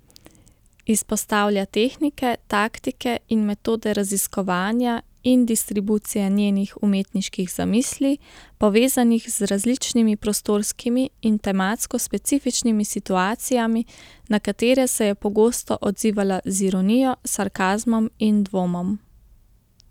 Izpostavlja tehnike, taktike in metode raziskovanja in distribucije njenih umetniških zamisli, povezanih z različnimi prostorskimi in tematsko specifičnimi situacijami, na katere se je pogosto odzivala z ironijo, sarkazmom in dvomom.